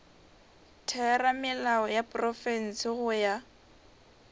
theramelao ya profense go ya